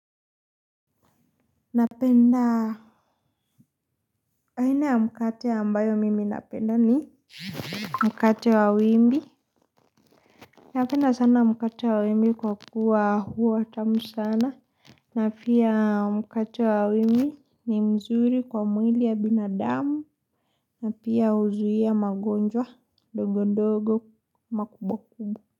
Napenda aina ya mkate ambayo mimi napenda ni mkate wa wimbi. Napenda sana mkate wa wimbi kwa kuwa huwa tamu sana. Napia mkate wa wimbi ni mzuri kwa mwili ya binadamu. Napia huzuia magonjwa ndogo ndogo makubwa kubwa.